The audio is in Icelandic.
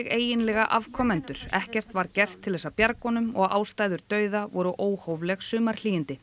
eiginlega afkomendur ekkert var gert til bjargar honum og ástæður dauða voru óhófleg